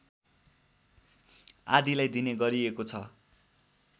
आदिलाई दिने गरिएको छ